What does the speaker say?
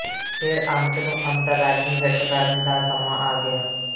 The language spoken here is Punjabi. ਫਿਰ ਅੰਤ ਨੂੰ ਅੰਤਰਰਾਜੀ ਹਿੱਟ ਕਰਨ ਦਾ ਸਮਾਂ ਆ ਗਿਆ